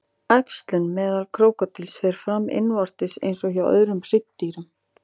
Æxlun meðal krókódíla fer fram innvortis eins og hjá öðrum hryggdýrum.